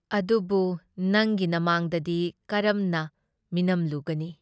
ꯑꯗꯨꯕꯨ ꯅꯪꯒꯤ ꯅꯃꯥꯡꯗꯗꯤ ꯀꯔꯝꯅ ꯃꯤꯅꯝꯂꯨꯒꯅꯤ?